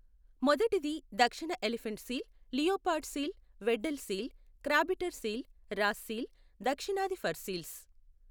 మొదటిది దక్షిణ elephant seal, leopard seal, Weddell seal, crabeater seal, Ross seal, దక్షిణాది fur seals.